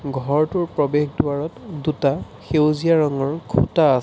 ঘৰটোৰ প্ৰৱেশ দুৱাৰত দুটা সেউজীয়া ৰঙৰ খুঁটা আছে।